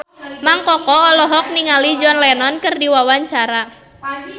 Mang Koko olohok ningali John Lennon keur diwawancara